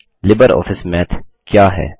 LibreOffice math क्या है